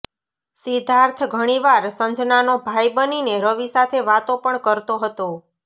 સિદ્ધાર્થ ઘણીવાર સંજનાનો ભાઈ બનીને રવિ સાથે વાતો પણ કરતો હતો